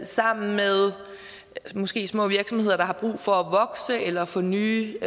sammen med måske små virksomheder der er brug for at vokse eller få nye